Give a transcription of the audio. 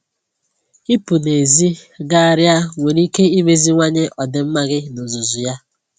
Ịpụ n'èzí gagharịa nwere ike imeziwanye ọdịmma gị n'ozuzu ya